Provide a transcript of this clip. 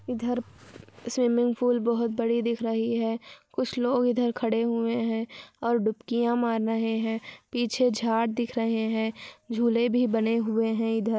इधर swimming pool बहुत बड़ी दिख रही है कुछ लोग इधर खड़े हुए है और डुबकियां मार रहे है पीछे झाड़ दिख रहे है झूले भी बने हुए है इधर।